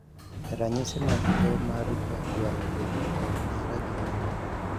Ranyisi mag tuo mar jwalo bedo kod nara gin ang'o?